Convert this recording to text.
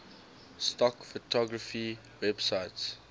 stock photography websites